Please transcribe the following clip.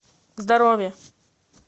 здоровье